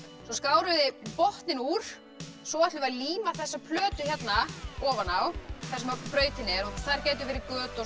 svo skáruð þið botninn úr svo ætlum við að líma þessa plötu hérna ofan á þar sem brautin er og þar gætu verið göt og